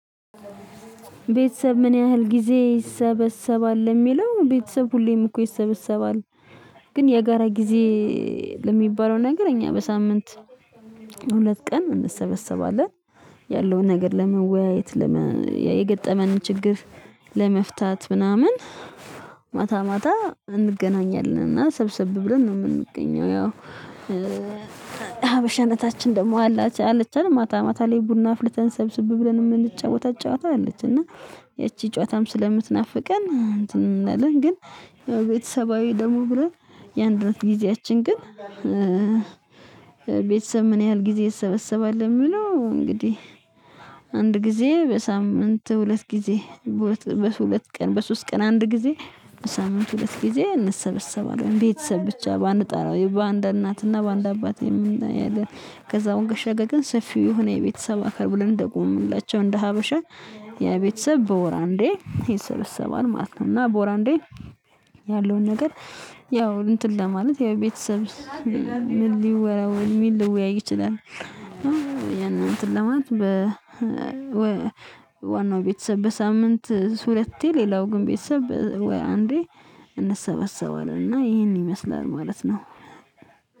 ቤተሰብ ምን ያህል ጊዜ ይሰበሰባል የሚለው ቤተሰብ ሁሌም እኮ ይሰበሰባል። ግን የጋራ ጊዜ ለሚባለው ነገር እኛ በሳምንት ሁለት ቀን እንሰበሰባለን ያለውን ነገር ለመወያየት የገጠመንን ችግር ለመፍታት ምናምን ማታ ማታ እንገናኛለን እና ሰብሰብ ብለን ነው የምንገኘው ያው ሀበሻነታችን ደግሞ አላችሁ አለች አይደል ማታ ማታ ላይ ቡና አፍልተን ሰብስብ ብለን የምንጫወታ ጨዋታ አለች እና ይቺ ጨዋታም ስለምትናፍቀን እንትን እንላለን ግን ቤተሰባዊ ደግሞ ብሎ ያንድነት ጊዜያችን ግን ቤተሰብ ምን ያህል ጊዜ ይሰበሰባል የሚለው እንግዲህ አንድ ጊዜ በሳምንት ሁለት ጊዜ በሁለት ቀን በሶስት ቀን አንድ ጊዜ ሳምንት ሁለት ጊዜ እንሰበሰባለን ቤተሰብ ብቻ ባንጠራው በአንድ እናትና በአንድ አባት ያለን ከዛ ባሻገር ግን ሰፊው ሆነ የቤተሰብ አካል ብለን እንደቆሙላቸው እንደ ሀበሻ የቤተሰብ በወር አንዴ ይሰበሰባል ማለት ነው እና በወር አንዴ ያለውን ነገር ያው እንትን ለማለት ያው ቤተሰብ ምን ሊወራው ምን ሊወያይ ይችላል ያን እንትን ለማለት በ ዋናው ቤተሰብ በሳምንት ሁለቴ ሌላው ግን ቤተሰብ ወይ አንዴ እንሰበሰባለን እና ይሄን ይመስላል ማለት ነው።